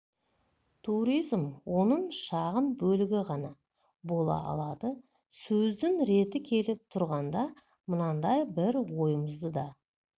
туризм оның шағын бөлігі ғана бола алады сөздің реті келіп тұрғанда мынандай бір ойымызды да